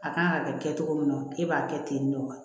A kan ka kɛ cogo min na k'e b'a kɛ tentɔ